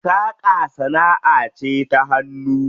Saƙa sanaʼa ce ta hannu.